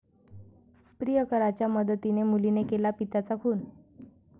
प्रियकराच्या मदतीने मुलीने केला पित्याचा खून